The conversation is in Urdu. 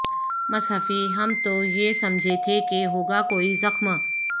مصحفی ہم تو یہ سمجھے تھے کہ ہوگا کوئی زخم